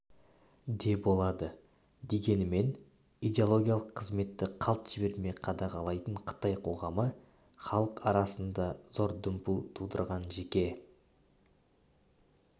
деболады дегенмен идеологиялық қызметті қалт жібермей қадағалайтын қытай қоғамы халық арасында зор дүмпу тудырған жеке